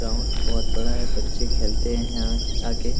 ground बहुत बड़ा है बच्चे खलते है यहाँ आके |